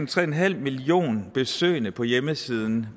tre en halv millioner besøgende på hjemmesiden